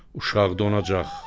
Uşaq donacaq.